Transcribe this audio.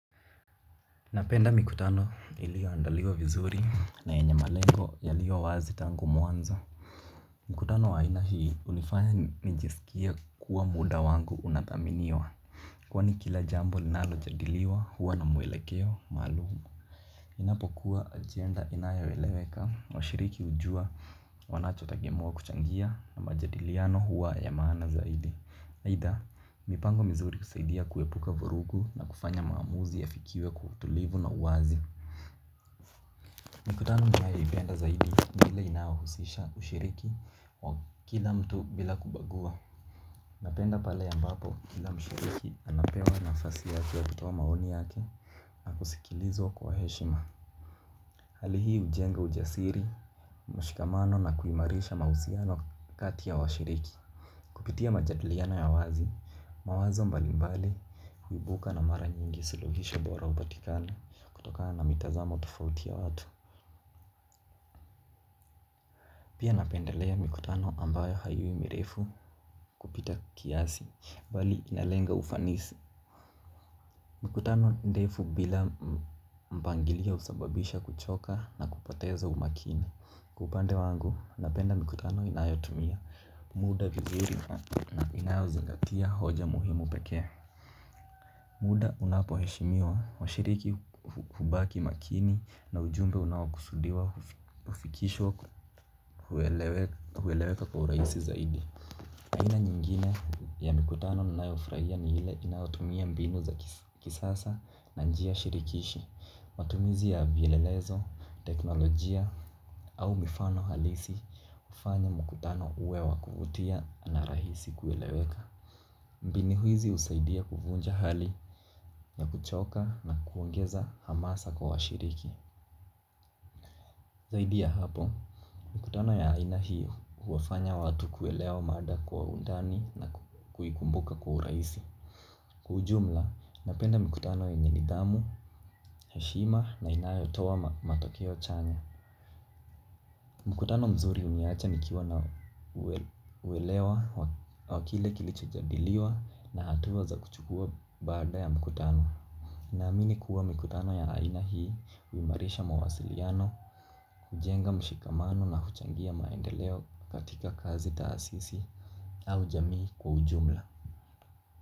Napenda mikutano iliyo andaliwa vizuri na yenye malengo yaliyo wazi tangu mwanzo. Mkutano wa aina hii unifanya nijiskie kuwa muda wangu unathaminiwa. Kwani kila jambo linalo jadiliwa huwa na mwelekeo maalumu. Inapo kuwa agenda inayo weleweka washiriki hujua wanacho tegemewa kuchangia na majadiliano huwa ya maana zaidi. Aidha, mipango mizuri husaidia kuepuka vurugu na kufanya maamuzi ya fikiwe kwa utulivu na uwazi. Mikutano ninayoipenda zaidi ni ile inahusisha ushiriki wa kila mtu bila kubagua. Napenda pale ambapo kila mshiriki anapewa nafasi yake ya kutoa maoni yake na kuskilizwa kwa heshima. Hali hii ujenga ujasiri, mshikamano na kuimarisha mahusiano kati ya washiriki. Kupitia majadiliano ya wazi, mawazo mbali mbali, huibuka na mara nyingi suluhisho bora upatikana, kutokana na mitazamo tofauti ya watu. Pia napendelea mikutano ambayo haiwi mirefu kupita kiasi, bali inalenga ufanisi. Mikutano ndefu bila mpangilio usababisha kuchoka na kupoteza umakini. Kwa upande wangu, napenda mikutano inayotumia, muda vizuri na inayozingatia hoja muhimu pekee. Muda unapo heshimiwa wa shiriki hubaki makini na ujumbe unaokusudiwa ufikishwa kueleweka kwa urahisi zaidi aina yingine ya mikutano nina yofurahia ni ile inayotumia mbinu za kisasa na njia shirikishi. Matumizi ya vielelezo, teknolojia au mifano halisi ufanya mkutano uwe wakuvutia na rahisi kueleweka. Mbinu hizi usaidia kuvunja hali na kuchoka na kuongeza hamasa kwa washiriki. Zaidi ya hapo, mikutano ya aina hio uwafanya watu kuelewa mada kwa undani na kuikumbuka kwa urahisi. Kwa ujumla, napenda mikutano yenye nidhamu, heshima na inayo toa matokeo chanya. Mkutano mzuri uniacha nikiwa na uwelewa wakile kilicho jadiliwa na hatua za kuchukua baada ya mkutano. Naamini kuwa mikutano ya aina hii, uimarisha mawasiliano, hujenga mshikamano na huchangia maendeleo katika kazi taasisi au jamii kwa ujumla.